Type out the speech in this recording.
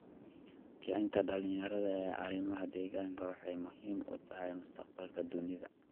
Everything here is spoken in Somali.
Kicinta dhalinyarada ee arrimaha deegaanka waxay muhiim u tahay mustaqbalka dunida.